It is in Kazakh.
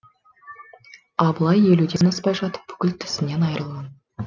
абылай елуден аспай жатып бүкіл тісінен айырылған